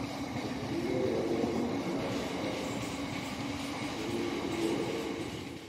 Teshi icheket kimosta nebo naet eng tuku chekiyoei.